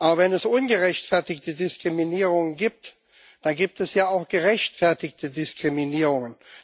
Aber wenn es ungerechtfertigte Diskriminierungen gibt, dann gibt es ja auch gerechtfertigte Diskriminierungen.